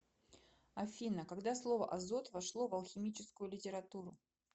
афина когда слово азот вошло в алхимическую литературу